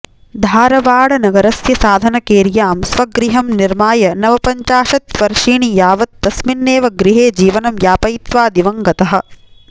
धारवाडनगरस्य साधनकेर्यां स्वगृहं निर्माय नवपञ्चाशत्वर्षीणि यावत् तस्मिन्नेव गृहे जीवनं यापयित्वा दिवङ्गतः